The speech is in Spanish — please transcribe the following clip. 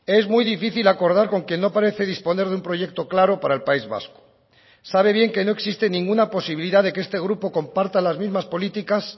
es muy difícil acordar con quien no parece disponer de un proyecto claro para el país vasco sabe bien que no existe ninguna posibilidad de que este grupo comparta las mismas políticas